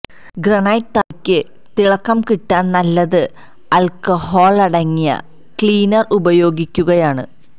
granite തറയ്ക്ക് തിളക്കം കിട്ടാന് നല്ലത് ആല്ക്കഹോള് ്ടങ്ങിയ ക്ലീനര് ഉപയോഗിക്കുകയാണ്